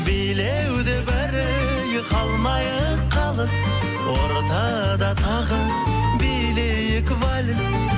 билеуде бәрі ей қалмайық қалыс ортада тағы билейік вальс